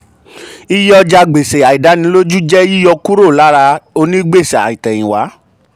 iye ọjàgbèsè àìdánilójú jẹ́ yíyọ kúrò lára onígbèsè àtèyìnwá.